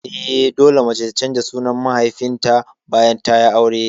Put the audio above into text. Eh, dole mace ta canza sunan mahaifinta bayan tayi aure